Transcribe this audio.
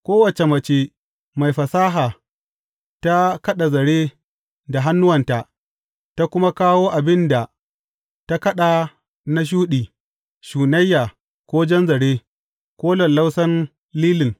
Kowace mace mai fasaha ta kaɗa zare da hannuwanta, ta kuma kawo abin da ta kaɗa na shuɗi, shunayya, ko jan zare, ko lallausan lilin.